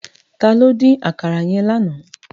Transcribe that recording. Tàló din àkàrá yèn láná?